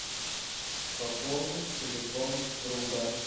пополнить телефон друга